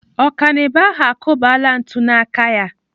Ọkanibo ahụ akụbala ntụ n'aka ya.